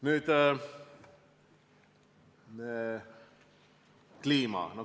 Nüüd kliima.